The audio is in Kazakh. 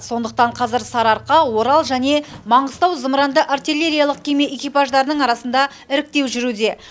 сондықтан қазір сарыарқа орал және маңғыстау зымыранды артиллериялық кеме экипаждарының арасында іріктеу жүруде